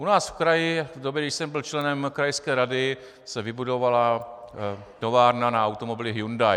U nás v kraji v době, kdy jsem byl členem krajské rady, se vybudovala továrna na automobily Hyundai.